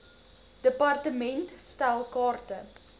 department stel kaarte